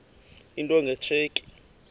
into nge tsheki